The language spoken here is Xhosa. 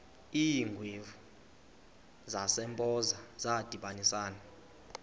iingwevu zasempoza zadibanisana